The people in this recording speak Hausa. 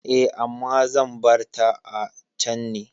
Eh, amma zan barta a can ne.